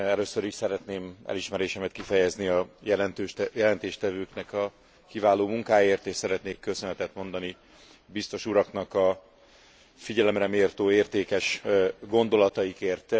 Először is szeretném elismerésemet kifejezni a jelentéstevőknek a kiváló munkáért és szeretnék köszönetet mondani a biztos uraknak a figyelemreméltó, értékes gondolataikért.